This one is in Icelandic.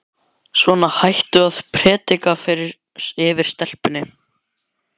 Svona, hættu nú að predika yfir stelpunni.